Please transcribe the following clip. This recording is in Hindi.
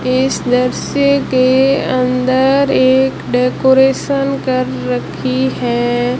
इस दृश्य के अंदर एक डेकोरेशन कर रखी है।